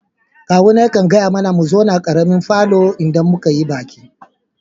Ƙawuna ya ƙan gaya mana mu zauna a ƙaremin falon idan mun yi baki.